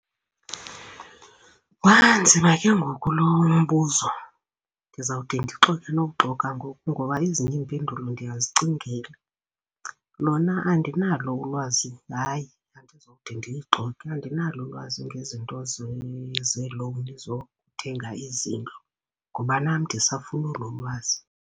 Wanzima ke ngoku lo umbuzo. Ndizawude ndixoke nokuxoka ngoku ngoba ezinye iimpendulo ndiyazicingela. Lona andinalo ulwazi, hayi, andizode ndixoke. Andinalo ulwazi ngezinto zee-loan zokuthenga izindlu ngoba nam ndisafuna olo lwazi.